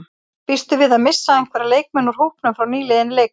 Býstu við að missa einhverja leikmenn úr hópnum frá nýliðinni leiktíð?